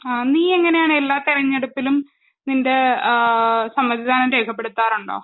ആ നീ എങ്ങനെയാണ് എല്ലാ തെരഞ്ഞെടുപ്പിലും നിൻ്റെ ഏഹ് സമ്മതിദാനം രേഖപ്പെടുത്താറുണ്ടോ?